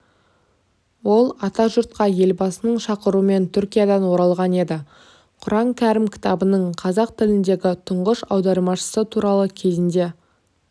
ол атажұртқа елбасының шақыруымен түркиядан оралған еді құран кәрім кітабының қазақ тіліндегі тұңғыш аудармашысы туралы кезінде